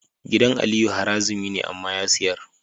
Gidan aliyu harazimi ne amma ya siyar